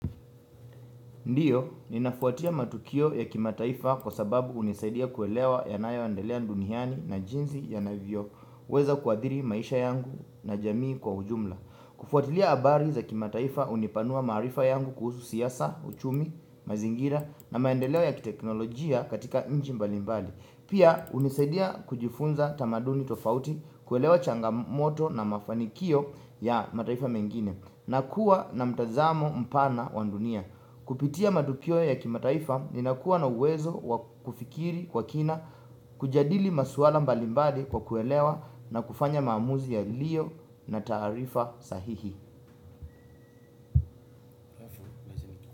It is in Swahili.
Ndiyo, ninafuatia matukio ya kimataifa kwa sababu hunisaidia kuelewa yanayoendelea duniani na jinsi yanavyo weza kuadhiri maisha yangu na jamii kwa ujumla kufuatilia habari za kimataifa hunipanua maarifa yangu kuhusu siasa, uchumi, mazingira na maendeleo ya kiteknolojia katika nchi mbali mbali Pia hunisaidia kujifunza tamaduni tofauti kuelewa changamoto na mafanikio ya mataifa mengine na kuwa na mtazamo mpana wa dunia. Kupitia matukio ya kimataifa ninakuwa na uwezo wa kufikiri kwa kina, kujadili maswala mbali mbali kwa kuelewa na kufanya maamuzi yaliyo na taarifa sahihi.